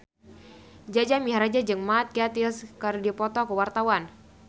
Jaja Mihardja jeung Mark Gatiss keur dipoto ku wartawan